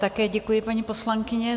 Také děkuji, paní poslankyně.